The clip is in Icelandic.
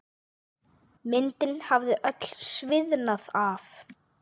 Myndin hafði öll sviðnað af.